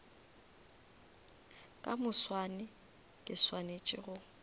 ka moswane ke swanetše go